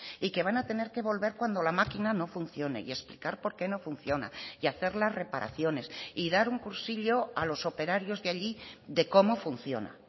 y que van a tener que volver cuando la maquina no funcione y explicar por qué no funciona y hacer las reparaciones y dar un cursillo a los operarios de allí de cómo funciona